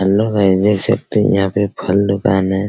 Hello guys देख सकते है यहाँ पे फल दुकान है।